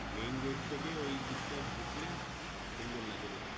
Main gate থেকে ওইদিকটা ঢুকলে খুব সুন্দর লাগে দেখতে।